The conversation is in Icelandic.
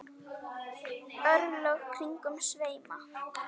örlög kringum sveima